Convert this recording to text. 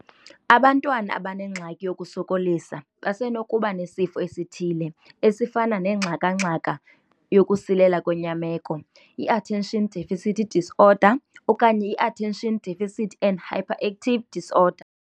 Abantwana abanengxaki yokusokolisa basenokuba nesifo esithile, esifana nengxaka-ngxaka yokusilela kwenyameko, i-Attention Deficit Disorder, okanye i-Attention Deficit and Hyperactivity Disorder.